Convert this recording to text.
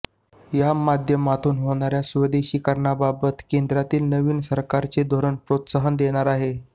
या माध्यमातून होणाऱ्या स्वदेशीकरणाबाबत केंद्रातील नवीन सरकारचे धोरण प्रोत्साहन देणारे आहे